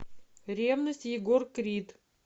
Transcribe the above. ревность егор крид